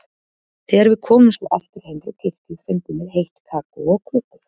Þegar við komum svo aftur heim frá kirkju fengum við heitt kakó og kökur.